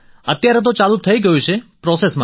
હાઅત્યારે તો ચાલું થઈ ગયું છે